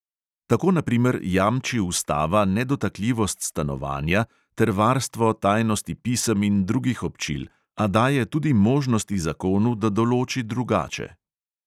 Tako na primer jamči ustava nedotakljivost stanovanja ter varstvo tajnosti pisem in drugih občil, a daje tudi možnosti zakonu, da določi drugače.